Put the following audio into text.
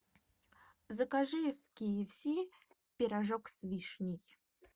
закажи в ки эф си пирожок с вишней